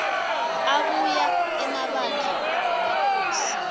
abuya emabandla wamakhosi